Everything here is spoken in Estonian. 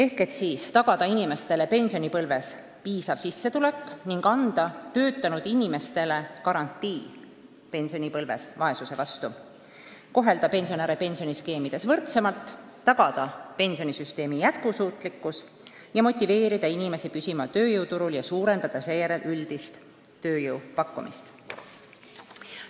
Soov on tagada inimestele pensionipõlves piisav sissetulek ning anda töötanud inimestele garantii vanaduspõlve vaesuse vastu; kohelda inimesi pensioniskeemides võrdsemalt, tagada pensionisüsteemi jätkusuutlikkus, motiveerida inimesi püsima tööjõuturul ja suurendada sel moel üldist tööjõu pakkumist.